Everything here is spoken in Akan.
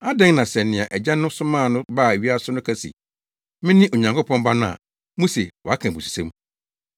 adɛn na sɛ nea Agya no somaa no baa wiase no ka se, ‘mene Onyankopɔn Ba no’ a muse waka abususɛm?